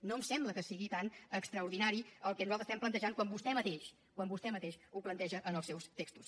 no em sembla que sigui tan extraordinari el que nosaltres estem plantejant quan vostè mateix quan vostè mateix ho planteja en els seus textos